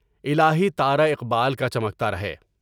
الہیٰ تاراقیال کا چمکتا رہے۔